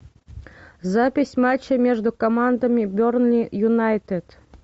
запись матча между командами бернли юнайтед